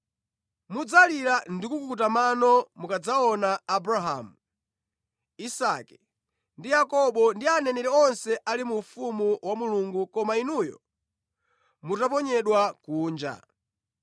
“Mudzalira ndi kukuta mano mukadzaona Abrahamu, Isake ndi Yakobo ndi aneneri onse ali mu ufumu wa Mulungu koma inuyo mutaponyedwa kunja.